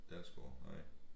Dalsgaard nej